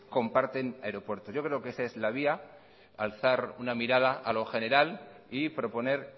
comparten aeropuertos yo creo que esta es la vía alzar una mirada a lo general y proponer